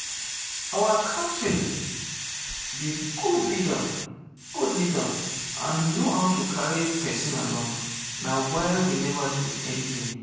Our captain be good leader and he know how to carry person along na why we never lose any game